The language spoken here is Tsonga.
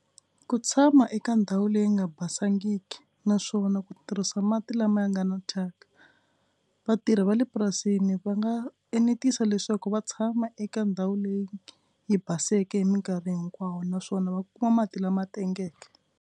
Ku tshama eka ndhawu leyi nga basangiki naswona ku tirhisa mati lama ya nga na thyaka. Vatirhi va le purasini va nga enetisa leswaku va tshama eka ndhawu leyi yi baseke hi mikarhi hinkwawo naswona va kuma mati lama tengeke.